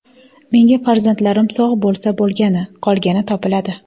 Menga farzandlarim sog‘ bo‘lsa bo‘lgani, qolgani topiladi.